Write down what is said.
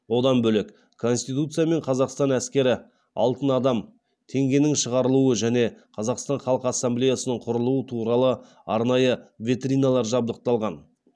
одан бөлек конституция мен қазақстан әскері алтын адам теңгенің шығарылуы және қазақстан халқы ассамблеясының құрылуы туралы арнайы витриналар жабдықталған